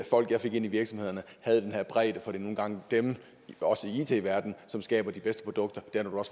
folk jeg fik ind i virksomhederne havde den her bredde for det er nu engang dem også i it verdenen som skaber de bedste produkter og